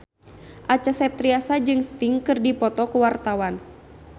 Acha Septriasa jeung Sting keur dipoto ku wartawan